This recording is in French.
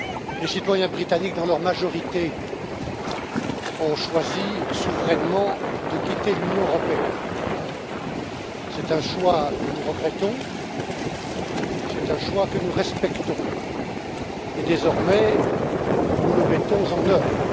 Les citoyens britanniques, dans leur majorité, ont choisi souverainement de quitter l'Union européenne. C'est un choix que nous regrettons, c'est un choix que nous respectons. Désormais, nous le mettons en œuvre.